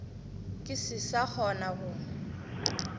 ke se sa kgona go